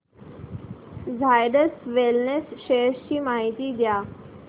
Zydus wellness shares ची माहिती द्या